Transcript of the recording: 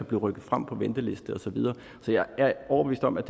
blive rykket frem på ventelister og så videre så jeg er overbevist om at